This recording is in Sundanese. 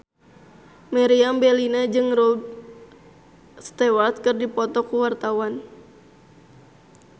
Meriam Bellina jeung Rod Stewart keur dipoto ku wartawan